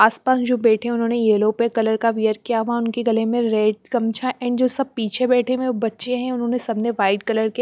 आसपास जो बैठे उन्होंने येलो पे कलर का वेयर किया हुआ उनके गले में रेड कमछा एंड जो सब पीछे बैठे हुए बच्चे हैं उन्होंने सबने वाइट कलर के--